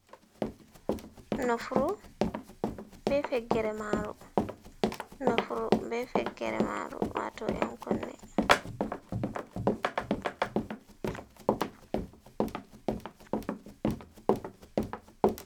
Nofru be fekkere maru nofru be fekkere maru wato en kunne.